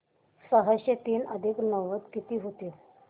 सहाशे तीन अधिक नव्वद किती होतील